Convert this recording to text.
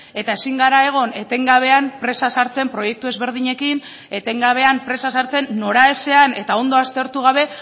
eta ezin gara egon etengabean presa sartzen proiektu ezberdinekin etengabean presa sartzen noraezean eta ondo aztertu gabe